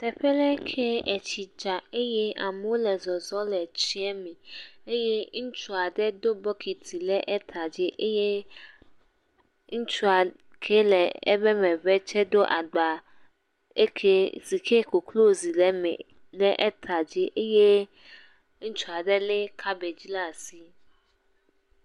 Teƒe aɖe ke ye tsi dza eye amewo le zɔzɔ̃m le tsia me eye ŋutsu aɖe do bɔkiti ɖe eƒe ta dzi eye ŋutsu ke le eƒe megbe tsɛ do agba eke si ke koklozi le eme ɖe eta dzi eye ŋutsu aɖe lé kabɛgi ɖe asi.